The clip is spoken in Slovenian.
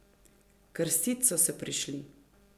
Krstit so se prišli!